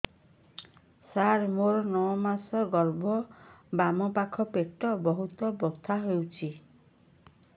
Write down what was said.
ସାର ମୋର ନଅ ମାସ ଗର୍ଭ ବାମପାଖ ପେଟ ବହୁତ ବଥା ହଉଚି